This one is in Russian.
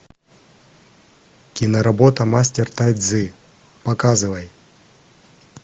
киноработа мастер тай цзи показывай